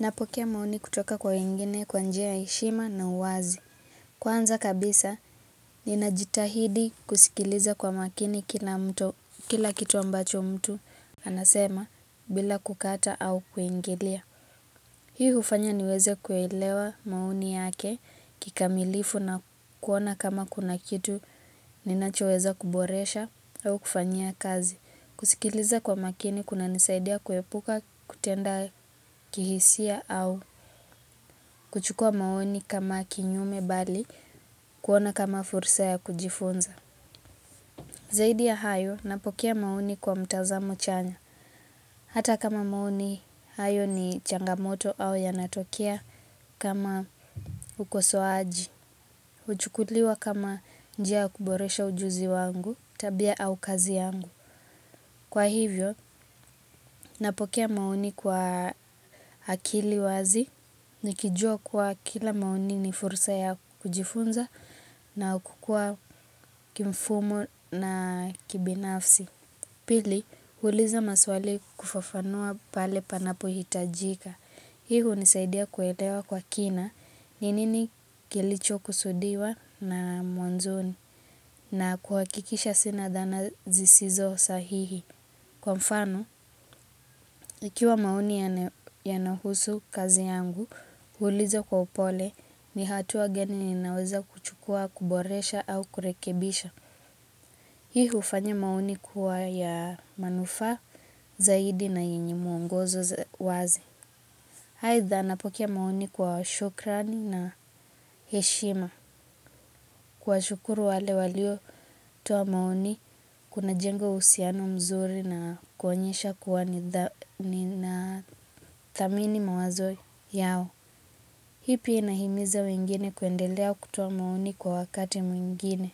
Napokea maoni kutoka kwa wengine kwa njia ya heshima na uwazi. Kwanza kabisa, ninajitahidi kusikiliza kwa makini kila kitu ambacho mtu anasema bila kukataa au kuingilia. Hii hufanya niweze kuelewa maoni yake kikamilifu na kuona kama kuna kitu ninachoweza kuboresha au kufanyia kazi. Kusikiliza kwa umakini kunanisaidia kuepuka kutenda kihisia au kuchukua maoni kama kinyume bali kuona kama fursa ya kujifunza. Zaidi ya hayo napokea maoni kwa mtazamo chanya. Hata kama maoni hayo ni changamoto au yanatokea kama ukosoaji. Huchukuliwa kama njia ya kuboresha ujuzi wangu, tabia au kazi yangu. Kwa hivyo, napokea maoni kwa akili wazi, nikijua kwa kila maoni ni fursa ya kujifunza na kukua kimfumo na kibinafsi. Pili, huuliza maswali kufafanua pale panapohitajika. Hii hunisaidia kuelewa kwa kina ni nini kilichokusudiwa na mwanzoni. Na kuhakikisha sina dhana zisizo sahihi. Kwa mfano, ikiwa maoni yanahusu kazi yangu, huuliza kwa upole ni hatua gani ninaweza kuchukua, kuboresha au kurekebisha. Hii hufanya maoni kuwa ya manufaa zaidi na yenye mwongozo wazi. Aidha napokea maoni kwa shukrani na heshima. Kuwashukuru wale waliotoa maoni, kunajenga uhusiano mzuri na kuonyesha kuwa ninathamini mawazo yao. Hii pia inahimiza wengine kuendelea kutoa maoni kwa wakati mwingine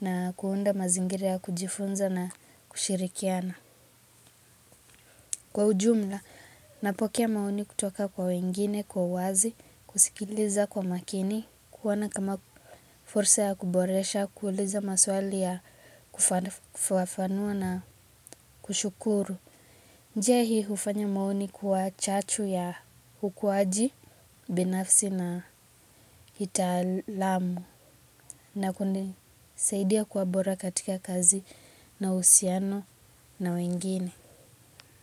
na kuunda mazingira ya kujifunza na kushirikiana. Kwa ujumla, napokea maoni kutoka kwa wengine, kwa uwazi, kusikiliza kwa makini, kuona kama fursa ya kuboresha, kuuliza maswali ya kufafanua na kushukuru. Njia hii hufanya maoni kuwa chachu ya ukuaji binafsi na kitaalamu na kunisaidia kuwa bora katika kazi na uhusiano na wengine.